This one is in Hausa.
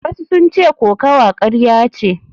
Wasu sun ce kokawa karya ce.